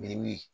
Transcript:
Min